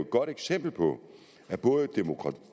godt eksempel på at både